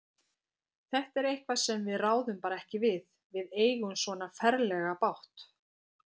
Þetta er eitthvað sem við ráðum bara ekki við. við eigum svona ferlega bágt.